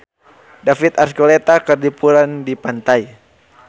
David Archuletta keur liburan di pantai